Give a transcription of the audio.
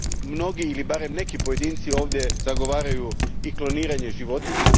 Mnogi ili barem neki pojedinci ovdje zagovaraju i kloniranje životinja.